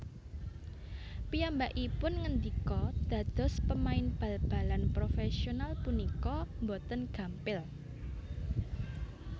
Piyambakipun ngendika Dados pemain bal balan profèsional punika boten gampil